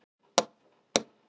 Sú vinna sé í gangi.